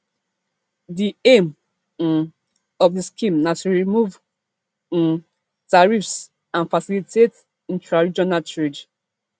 di aim um of di scheme na to to remove um tariffs and facilitate intraregional trade